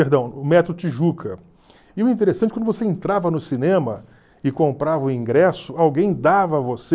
Perdão, o Metro Tijuca. E o interessante é que quando você entrava no cinema e comprava o ingresso, alguém dava a você.